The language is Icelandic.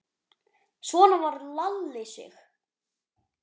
Svona var Lalli Sig.